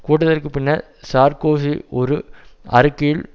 கூட்டத்திற்கு பின்னர் சார்க்கோசி ஒரு அறிக்கையில்